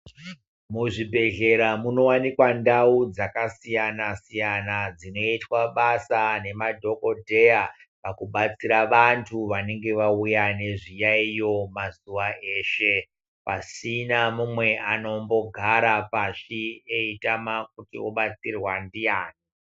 Muzvibhedhlera munowanikwa ndau dzakasiyana siyana zvinoitwa basa nemadhokodheya pakubatsira vantu vanenge vauya nezviyaiyo zveshe pasina mumwe anombogara pashi eitaman kuti obatsirea ndiani.